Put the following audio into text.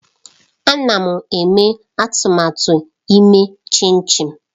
Ana m eme atụmatụ ime chinchi